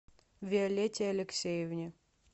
виолетте алексеевне